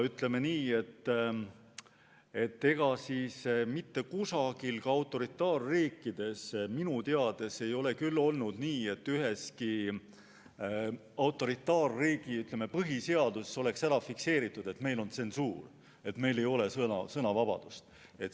Ütleme nii, et ega siis mitte kusagil, ka autoritaarriikides minu teada mitte, ei ole olnud nii, et põhiseaduses oleks fikseeritud, et meil on tsensuur, meil ei ole sõnavabadust.